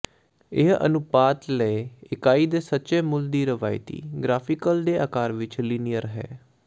ਇਹ ਅਨੁਪਾਤ ਲਏ ਇਕਾਈ ਦੇ ਸੱਚੇ ਮੁੱਲ ਦੀ ਰਵਾਇਤੀ ਗਰਾਫੀਕਲ ਦੇ ਆਕਾਰ ਵਿਚ ਲੀਨੀਅਰ ਹੈ